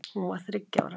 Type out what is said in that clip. Hún var þriggja ára.